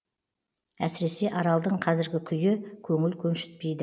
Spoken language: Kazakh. әсіресе аралдың қазіргі күйі көңіл көншітпейді